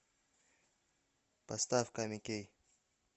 поставь ками кей